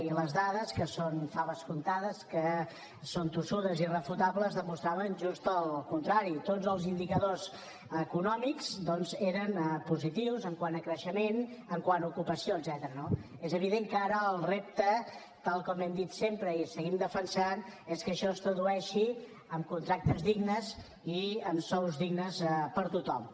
i les dades que són faves comptades que són tossudes i irrefutables demostraven just el contrari tots els indicadors econòmics doncs eren positius quant a creixement quant a ocupació etcètera no és evident que ara el repte tal com hem dit sempre i seguim defensant és que això es tradueixi en contractes dignes i en sous dignes per a tothom